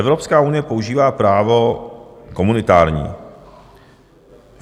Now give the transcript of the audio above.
Evropská unie používá právo komunitární.